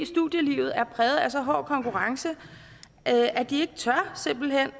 studielivet er præget af så hård konkurrence at de simpelt hen